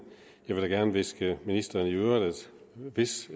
jeg vil da gerne hviske ministeren i øret at hvis